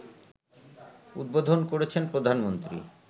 উদ্বোধন করেছেন প্রধানমন্ত্রী